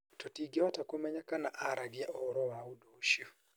Tũtingĩhota kũmenya kana aaragia ũhoro wa ũndũ ũcio.